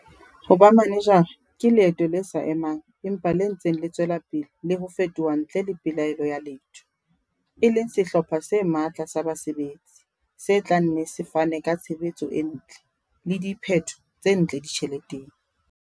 Ho ba manejara ke leeto le sa emang empa le ntseng le tswela pele le ho fetoha ntle le pelaelo ya letho, e leng sehlopha se matla sa basebetsi se tla nne se fane ka tshebetso e ntle - le diphetho tse ntle ditjheleteng.